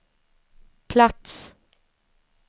plats